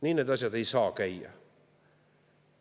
Nii need asjad ei saa käia!